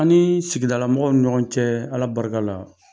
An ni sigidala mɔgɔw ni ɲɔgɔn cɛ ala barika la